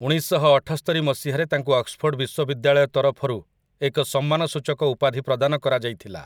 ଉଣେଇଶଶହଅଠସ୍ତରି ମସିହାରେ ତାଙ୍କୁ ଅକ୍ସଫୋର୍ଡ଼୍ ବିଶ୍ୱବିଦ୍ୟାଳୟ ତରଫରୁ ଏକ ସମ୍ମାନସୂଚକ ଉପାଧି ପ୍ରଦାନ କରାଯାଇଥିଲା ।